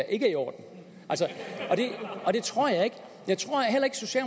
er i orden det tror jeg ikke